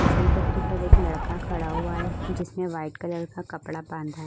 फिसल पट्टी पर एक लड़का खड़ा हुआ है जिसमे वाइट कलर का कपड़ा बंधा --